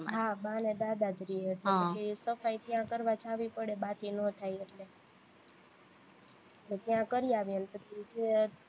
હા બા ને દાદા જ રે છે પછી સફાઈ ત્યાં કરવા જવી પડે બાથી નો થાય એટલે પછી ત્યાં કરીયાવીએ ને પછી છે